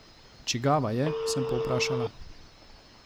Čigava je, sem povprašala.